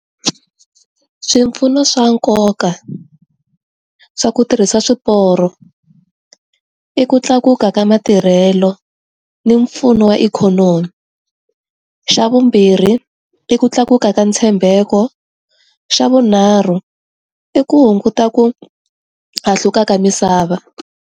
Swipfuno swa nkoka, swa ku tirhisa swiporo. I ku tlakuka ka matirhelo ni mpfuno wa ikhonomi. Xa vumbirhi, i ku tlakuka ka ntshembeko, xa vunharhu, i ku hunguta ku hahluka ka misava.